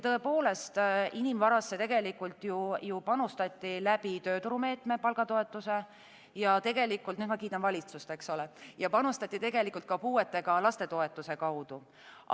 Tõepoolest, inimvarasse ju panustati tööturumeetme, palgatoetuse ja tegelikult, nüüd ma kiidan valitsust, panustati ka puuetega laste toetuse kaudu.